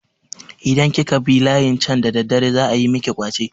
Idan kika bi layin can da daddare za ayi miki ƙwace.